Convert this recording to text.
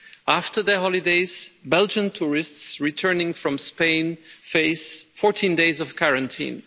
After their holidays, Belgian tourists returning from Spain faced 14 days of quarantine.